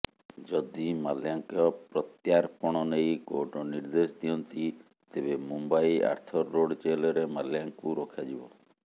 ଯଦି ମାଲ୍ୟାଙ୍କ ପ୍ରତ୍ୟାର୍ପଣ ନେଇ କୋର୍ଟ ନିର୍ଦ୍ଦେଶ ଦିଅନ୍ତି ତେବେ ମୁମ୍ବାଇ ଆର୍ଥର ରୋଡ ଜେଲରେ ମାଲ୍ୟାଙ୍କୁ ରଖାଯିବ